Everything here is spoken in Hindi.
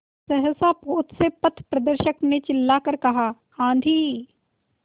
सहसा पोत से पथप्रदर्शक ने चिल्लाकर कहा आँधी